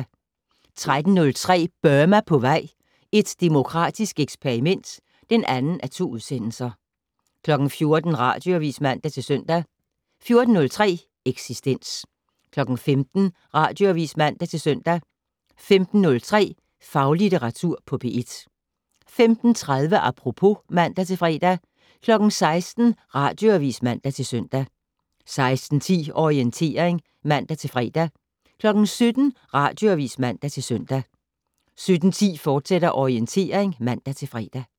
13:03: Burma på vej - et demokratisk eksperiment (2:2) 14:00: Radioavis (man-søn) 14:03: Eksistens 15:00: Radioavis (man-søn) 15:03: Faglitteratur på P1 15:30: Apropos (man-fre) 16:00: Radioavis (man-søn) 16:10: Orientering (man-fre) 17:00: Radioavis (man-søn) 17:10: Orientering, fortsat (man-fre)